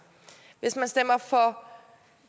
hvis man stemmer for